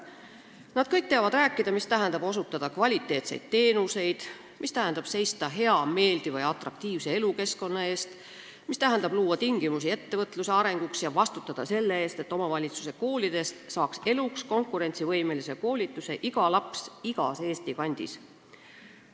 Nad kõik teavad rääkida, mida tähendab osutada kvaliteetseid teenuseid, mida tähendab seista hea, meeldiva ja atraktiivse elukeskkonna eest, mida tähendab luua tingimusi ettevõtluse arenguks ja vastutada selle eest, et omavalitsuse koolides saaks eluks konkurentsivõimelise koolituse iga laps igas Eesti kandis.